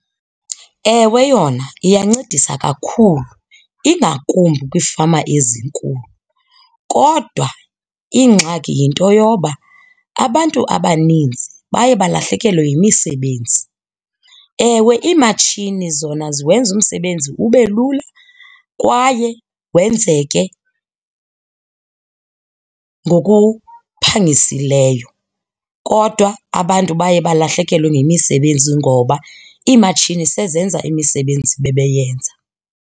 Ewe, yona iyancedisa kakhulu ingakumbi kwiifama ezinkulu kodwa ingxaki yinto yoba abantu abaninzi baye balahlekelwe yimisebenzi. Ewe, iimatshini zona ziwenza umsebenzi ube lula kwaye wenzeke ngokuphangisileyo, kodwa abantu baye balahlekelwe ngemisebenzi ngoba iimatshini sezenza imisebenzi bebeyenza.